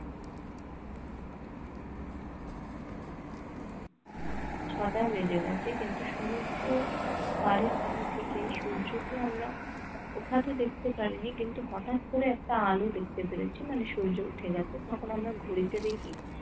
ছটা বেজে গেছে কিন্তু সূর্য পারের ওখান থেকে কিন্তু সূর্যকে আমরা ওঠাতে দেখতে পারিনি কিন্তু হঠাৎ করে একটা আলো দেখতে পেরেছি মানে সূর্য উঠে গেছে তখন আমরা ঘড়িতে দেখি